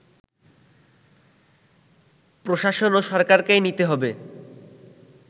প্রশাসন ও সরকারকেই নিতে হবে